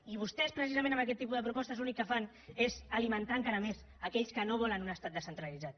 i vostès precisament amb aquest tipus de propostes l’únic que fan és alimentar encara més aquells que no volen un estat descentralitzat